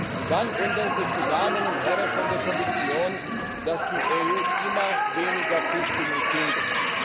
Und dann wundern sich die Damen und Herren von der Kommission, dass die EU immer weniger Zustimmung findet.